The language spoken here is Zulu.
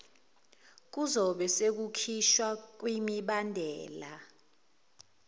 kuzobe sekukhishwa kwimibandela